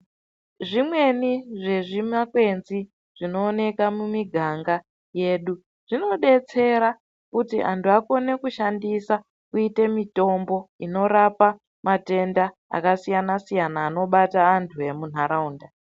Zvimweni zvezvimakwenzi zvinoneka mumiganga yedu. Zvinobetsera kuti vantu vakone kushandisa kuite mitombo inorapa matenda akasiyana-siyana, anobata antu emunharaunda.